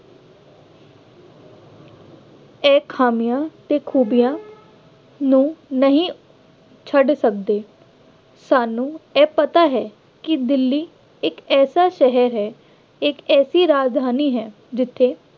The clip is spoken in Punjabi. ਇਹ ਖਾਮੀਆਂ ਤੇ ਖੂਬੀਆਂ ਨੂੰ ਨਹੀਂ ਛੱਡ ਸਕਦੇ। ਸਾਨੂੰ ਇਹ ਪਤਾ ਹੈ ਕਿ ਦਿੱਲੀ ਇੱਕ ਐਸਾ ਸ਼ਹਿਰ ਹੈ, ਇੱਕ ਐਸੀ ਰਾਜਧਾਨੀ ਹੈ ਜਿੱਥੇ